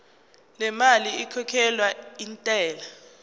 lemali ekhokhelwa intela